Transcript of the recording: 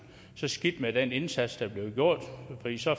så skidt med den indsats der bliver gjort